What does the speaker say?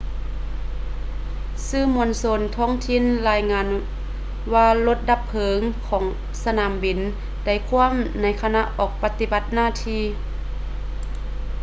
ສື່ມວນຊົນທ້ອງຖິ່ນລາຍງານວ່າລົດດັບເພີງຂອງສະໜາມບິນໄດ້ຂວ້ຳໃນຂະນະອອກປະຕິບັດໜ້າທີ່